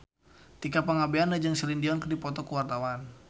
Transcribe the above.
Tika Pangabean jeung Celine Dion keur dipoto ku wartawan